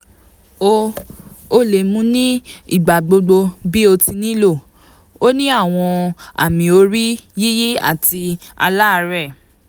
o o le mu ni igbagbogbo bi o ti nilo o ni awọn amiori-yiyi ati aláàárẹ̀